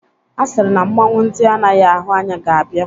A sịrị na mmanwụ ndị anaghị ahụ anya ga-abia.